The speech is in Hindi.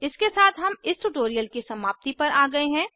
इसके साथ हम इस ट्यूटोरियल की समाप्ति पर आ गये हैं